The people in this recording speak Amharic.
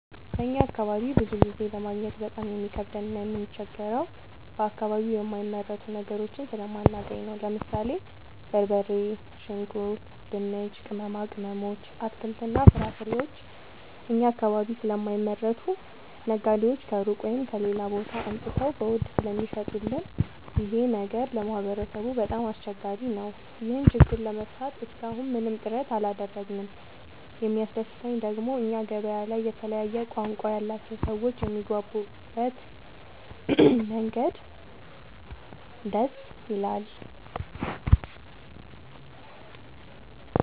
በእኛ አካባቢ ብዙ ጊዜ ለማግኘት በጣም የሚከብደን እና የምንቸገረው በአከባቢው የማይመረቱ ነገሮችን ስለማናገኝ ነው። ለምሳሌ፦ በርበሬ፣ ሽንኩርት፣ ድንች፣ ቅመማ ቅመሞች፣ አትክልትና ፍራፍሬዎችን እኛ አካባቢ ስለማይመረቱ ነጋዴዎች ከሩቅ(ከሌላ ቦታ) አምጥተው በውድ ስለሚሸጡልን ይኸ ነገር ለማህበረሰቡ በጣም አስቸጋሪ ነው። ይህን ችግር ለመፍታት እሰከ አሁን ምንም ጥረት አላደረግንም። የሚያስደሰተኝ ደግሞ እኛ ገበያ ላይ የተለያየ ቋንቋ ያላቸው ሰዎች የሚግባቡበት መንገድ ደስ ይላል።